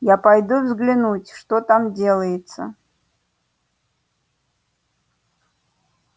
я пойду взглянуть что там делается